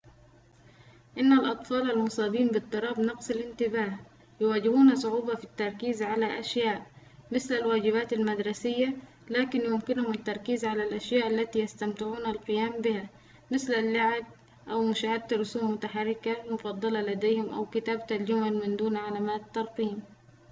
إن الأطفال المصابين باضطراب نقص الانتباه يواجهون صعوبةً في التركيز على أشياءٍ مثل الواجبات المدرسية لكن يمكنهم التركيز على الأشياء التي يستمتعون القيام بها مثل اللعب أو مشاهدة الرسوم المتحركة المفضلة لديهم أو كتابة الجمل من دون علامات ترقيم